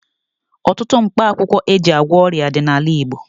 Ọtụtụ mkpakwụkwọ e ji agwọ ọrịa dị n'ala Igbo.